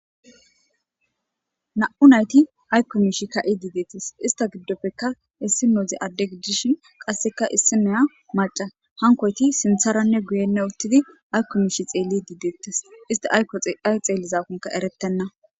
na'u nayti aykko miishshi ka'idii dettes ista giddoppeka issinozi adde gidishin qasseka issinoya maca hankoyti sintharanne guyenne uttidi aykomiishshi xeellidii deettes isti aykko ay xeellizakonne eretenna